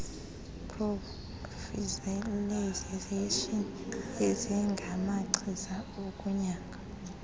prophylaxis ezingamachiza okunyanga